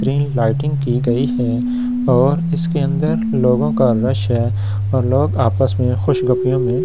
green lighting की गई है और इसके अंदर लोगों का रस है और लोग आपस में खुशगपियों में ऐ--